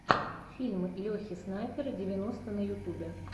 фильм лехи снайпера девяносто на ютубе